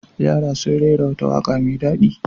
Yara sun rera wata waƙa mai daɗi.